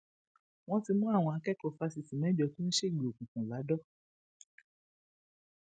wọn ti mú àwọn akẹkọọ fásitì mẹjọ tó ń ṣègbè òkùnkùn ladọ